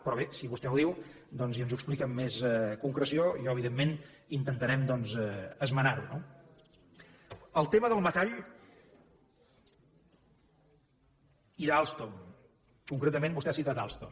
però bé si vostè ho diu doncs i ens ho explica amb més concreció evidentment intentarem esmenar ho no el tema del metall i d’alstom concretament vostè ha citat alstom